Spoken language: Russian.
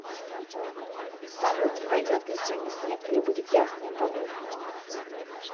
салют пойдет ли сегодня снег или будет ясная погода